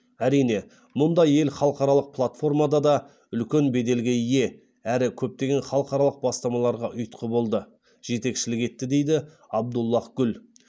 әрине мұндай ел халықаралық платформада да үлкен беделге ие әрі көптеген халықаралық бастамаларға ұйытқы болды жетекшілік етті дейді абдуллаһ гүл